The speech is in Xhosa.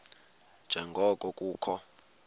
nje ngoko kukho